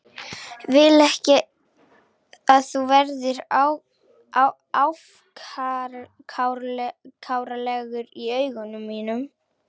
Vil ekki að þú verðir afkáralegur í augum mínum.